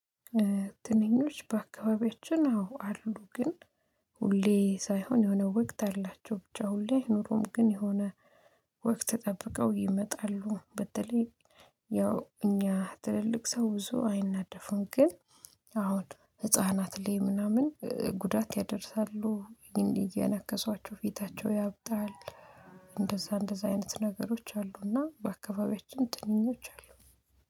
ትንኞች በአካባቢያችን አዎ አሉ ግን ሁሌ ሳይሆን የሆነ ወቅት አላቸው ብቻ ሁሌ አይኖሩም ግን የሆነ ወቅት ጠብቀው ይመጣሉ። በተለይ ያው እኛ ትልልቅ ሰው ብዙ አይናደፉም። ግን አሁን ህፃናት ላይ ምናምን ጉዳት ያደርሳሉ እየነከሷቸው ፊታቸው ያብጣል። እንደዛ እንደዛ አይነት ነገሮች አሉና በአካባቢያችን ጥንኞች አሉ